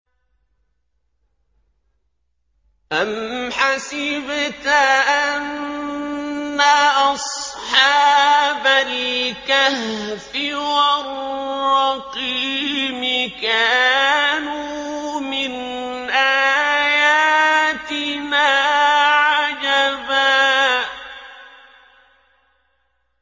أَمْ حَسِبْتَ أَنَّ أَصْحَابَ الْكَهْفِ وَالرَّقِيمِ كَانُوا مِنْ آيَاتِنَا عَجَبًا